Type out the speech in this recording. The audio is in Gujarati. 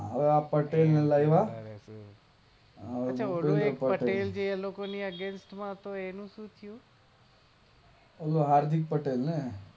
હવે આ પટેલ ને લાવા પટેલ છે એ લોકો ની અગેઈન્સ્ટ માં તેનુંશું થયું? ઓલો હાર્દિક પટેલ એ?